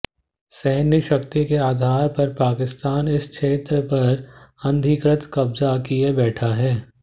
सैन्य शक्ति के आधार पर पाकिस्तान इस क्षेत्र पर अनधिकृत कब्जा किए बैठा है